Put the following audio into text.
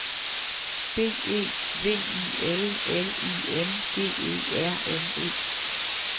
B E V I L L I N G E R N E